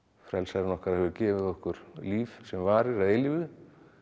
frelsarinn okkar hefur gefið okkur líf sem varir að eilífu